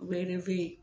Bɛɛ